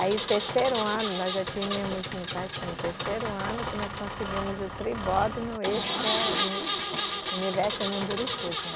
Aí o terceiro ano, nós já tínhamos, no, parece que no terceiro ano, que nós conseguimos o tribódono, esse que é o Universo Mundurukus, né?